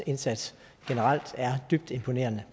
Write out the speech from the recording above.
indsats er dybt imponerende